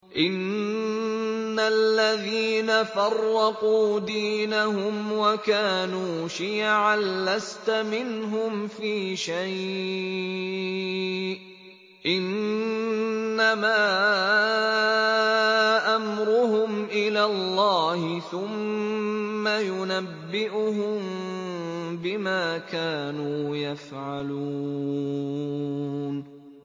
إِنَّ الَّذِينَ فَرَّقُوا دِينَهُمْ وَكَانُوا شِيَعًا لَّسْتَ مِنْهُمْ فِي شَيْءٍ ۚ إِنَّمَا أَمْرُهُمْ إِلَى اللَّهِ ثُمَّ يُنَبِّئُهُم بِمَا كَانُوا يَفْعَلُونَ